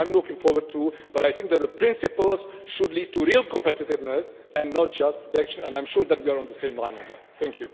I am looking forward too, but I think that the principles should lead to real competitiveness and not just protection, and I am sure that we are on the same page on that.